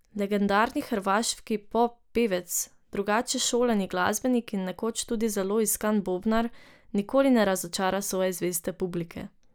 Legendarni hrvaški pop pevec, drugače šolani glasbenik in nekoč tudi zelo iskan bobnar, nikoli ne razočara svoje zveste publike.